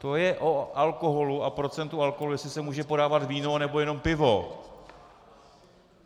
To je o alkoholu a procentu alkoholu, jestli se může podávat víno, nebo jenom pivo.